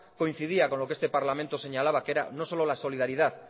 coincidía con lo que este parlamento señalaba que era no solo la solidaridad